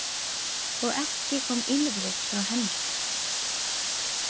Og ekki kom ýlfrið frá henni.